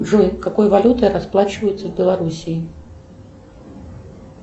джой какой валютой расплачиваются в белоруссии